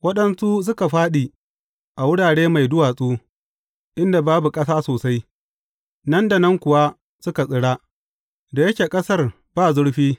Waɗansu suka fāɗi a wurare mai duwatsu, inda babu ƙasa sosai, nan da nan kuwa suka tsira, da yake ƙasar ba zurfi.